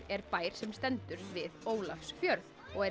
er bær sem stendur við Ólafsfjörð og er